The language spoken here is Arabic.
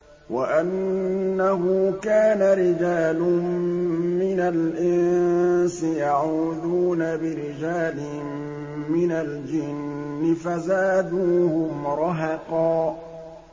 وَأَنَّهُ كَانَ رِجَالٌ مِّنَ الْإِنسِ يَعُوذُونَ بِرِجَالٍ مِّنَ الْجِنِّ فَزَادُوهُمْ رَهَقًا